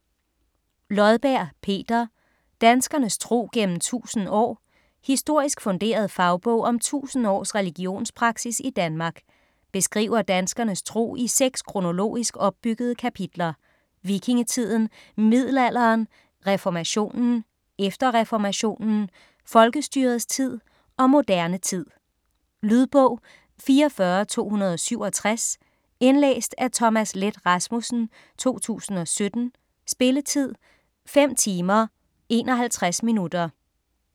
Lodberg, Peter: Danskernes tro gennem 1000 år Historisk funderet fagbog om 1000 års religionspraksis i Danmark. Beskriver danskernes tro i seks kronologisk opbyggede kapitler: Vikingetiden, middelalderen, reformationen, efter reformationen, folkestyrets tid og moderne tid. Lydbog 44267 Indlæst af Thomas Leth Rasmussen, 2017. Spilletid: 5 timer, 51 minutter.